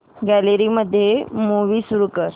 gallery मध्ये movie सुरू कर